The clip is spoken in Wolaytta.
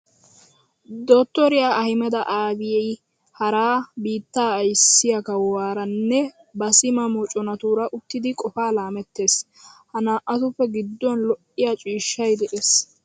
Dottoriya Ahimeda Abiyyi hara biittaa ayssiya kawuwara nne ba sima moconatuura uttidi qofaa laamettees. Ha naa"atuppe gidduwan lo'iya ciishshay de'es.